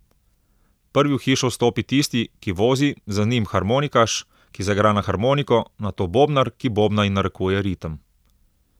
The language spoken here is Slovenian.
Prvi v hišo vstopi tisti, ki vozi, za njim harmonikaš, ki zaigra na harmoniko, nato bobnar, ki bobna in narekuje ritem.